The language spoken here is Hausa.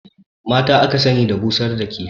Mata aka sani da busar da kifi